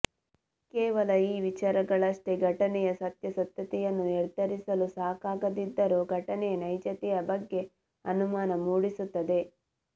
ಕೇವಲ ಈ ವಿಚಾರಗಳಷ್ಟೇ ಘಟನೆಯ ಸತ್ಯಾಸತ್ಯತೆಯನ್ನು ನಿರ್ಧರಿಸಲು ಸಕಾಗದಿದ್ದರು ಘಟನೆಯ ನೈಜತೆಯ ಬಗ್ಗೆ ಅನುಮಾನ ಮೂಡಿಸುತ್ತದೆ